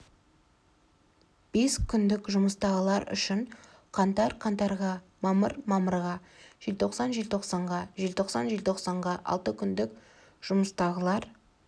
бес күндік жұмыстағылар үшін қаңтар қаңтарға мамыр мамырға желтоқсан желтоқсанға желтоқсан желтоқсанға алты күндік жұмыстағылар